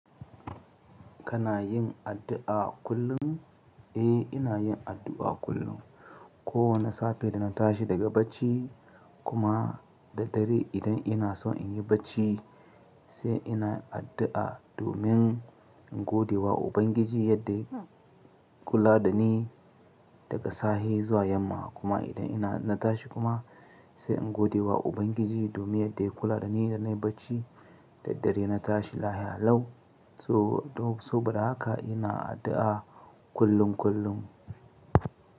Kana yin addu'a kullum? Eh, ina yin addu'a kullum. Kowane safe idan na tashi daga bacci kuma da dare idan ina so in yi bacci sai ina addu'a domin in godewa Ubangiji yadda ya kula da ni daga sahe zuwa yamma. Kuma idan ina na tashi kuma sai in godewa Ubangiji domin yadda ya kula da ni da na yi bacci da dare na tashi lahiya lau. So, so bara haka ina addu'a kullum kullum.